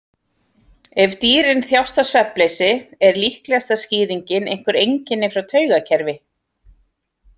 Ef dýrin þjást af svefnleysi er líklegasta skýringin einhver einkenni frá taugakerfi.